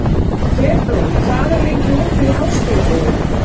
Febrún, hvað er lengi opið í Háskólabúðinni?